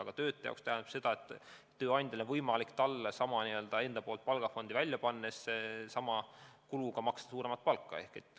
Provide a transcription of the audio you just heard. Aga töötaja jaoks see tähendab seda, et tööandjal on võimalik talle sama palgafondi välja pannes, sama kuluga maksta suuremat palka.